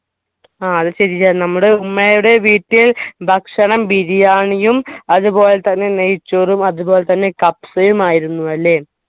ആ അത് ശരിയാ നമ്മുടെ ഉമ്മയുടെ വീട്ടിൽ ഭക്ഷണം ബിരിയാണിയും അതുപോലെതന്നെ നെയ്‌ച്ചോറും അതുപോലതന്നെ കബ്‌സയും ആയിരുന്നു അല്ലേ